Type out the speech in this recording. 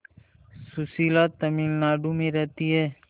सुशीला तमिलनाडु में रहती है